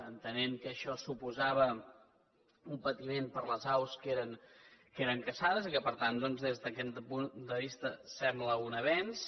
entenem que això suposava un patiment per a les aus que eren caçades i que per tant doncs des d’aquest punt de vista sembla un avenç